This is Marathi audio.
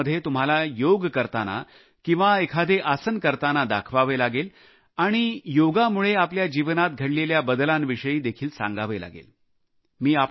या व्हिडिओमध्ये तुम्हाला योग करताना किंवा एखादे आसन करतांना दाखवावे लागेल आणि आपल्या जीवनात घडलेल्या बदलांविषयी देखील सांगावे लागेल